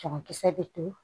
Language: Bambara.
Cɛmankisɛ bɛ to